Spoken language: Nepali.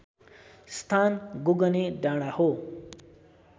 स्थान गोगने डाँडा हो